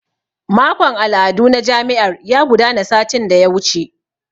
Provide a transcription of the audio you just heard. Makon al'adu na jami'ar ya gudana satin da ya wuce.